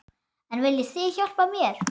En viljið þið hjálpa mér?